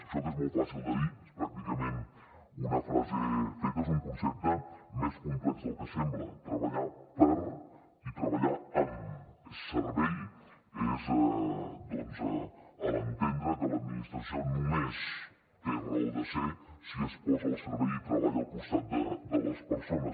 això que és molt fàcil de dir és pràcticament una frase feta és un concepte més complex del que sembla treballar per i treballar nistració només té raó de ser si es posa al servei i treballa al costat de les persones